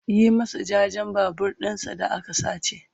Yi masa jajen Babur ɗinshi da aka sace!